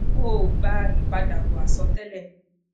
o o gba ipadabọ asọtẹlẹ